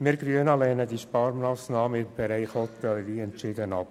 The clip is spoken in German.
Wir Grünen lehnen diese Sparmassnahme im Bereich Hotellerie entschieden ab.